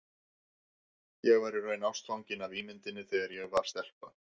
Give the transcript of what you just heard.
Ég var í raun ástfangin af ímynduninni þegar ég var stelpa.